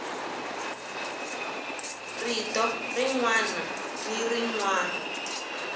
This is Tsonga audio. rito rin wana ni rin